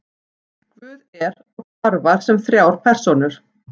guð er og starfar sem þrjár persónur